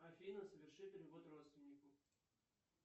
афина соверши перевод родственнику